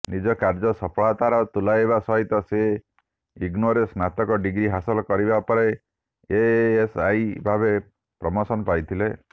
ନିଜକାର୍ଯ୍ୟ ସଫଳତାର ତୁଲାଇବା ସହିତ ସେ ଇଗ୍ନୋରେ ସ୍ନାତକ ଡିଗ୍ରୀହାସଲ କରିବା ପରେ ଏଏଏସଆଇ ଭାବେ ପ୍ରମୋଶନ ପାଇଥିଲେ